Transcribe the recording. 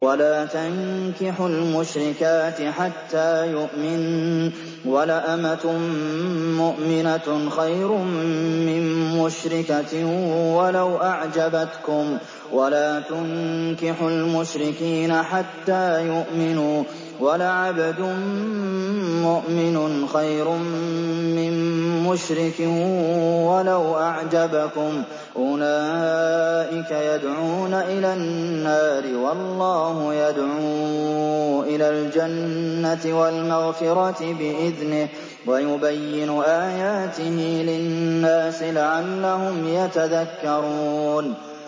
وَلَا تَنكِحُوا الْمُشْرِكَاتِ حَتَّىٰ يُؤْمِنَّ ۚ وَلَأَمَةٌ مُّؤْمِنَةٌ خَيْرٌ مِّن مُّشْرِكَةٍ وَلَوْ أَعْجَبَتْكُمْ ۗ وَلَا تُنكِحُوا الْمُشْرِكِينَ حَتَّىٰ يُؤْمِنُوا ۚ وَلَعَبْدٌ مُّؤْمِنٌ خَيْرٌ مِّن مُّشْرِكٍ وَلَوْ أَعْجَبَكُمْ ۗ أُولَٰئِكَ يَدْعُونَ إِلَى النَّارِ ۖ وَاللَّهُ يَدْعُو إِلَى الْجَنَّةِ وَالْمَغْفِرَةِ بِإِذْنِهِ ۖ وَيُبَيِّنُ آيَاتِهِ لِلنَّاسِ لَعَلَّهُمْ يَتَذَكَّرُونَ